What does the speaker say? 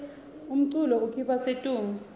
umculo ukhipha situnge